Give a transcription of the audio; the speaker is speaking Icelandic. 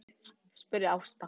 spurði Ásta.